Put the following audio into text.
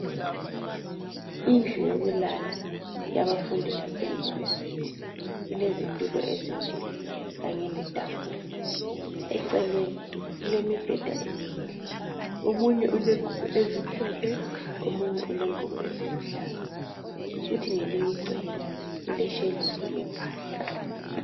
Indlu yokulala yabafundi base yunivesithi ilezitulo ezimbili kanye letafula .Eceleni kulemibheda emibili omunye ulengubo ezimhlophe omunye ulengubo eziluhlaza. Kuthi ngelinye icele kuleshelufu yempahla.